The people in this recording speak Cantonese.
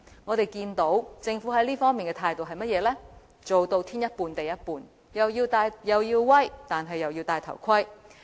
我們看到政府在這方面的態度是做到"天一半、地一半"，是"又要威、又要戴頭盔"。